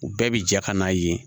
U bɛɛ bi jɛ ka n'a ye